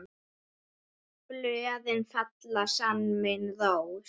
Blöðin fellir senn mín rós.